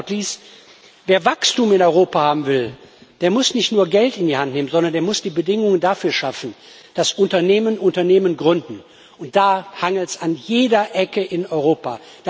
Und last but not least Wer Wachstum in Europa haben will, der muss nicht nur Geld in die Hand nehmen, sondern der muss die Bedingungen dafür schaffen, dass Unternehmen Unternehmen gründen, und da hakt es an jeder Ecke in Europa.